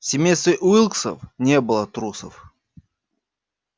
в семействе уилксов не было трусов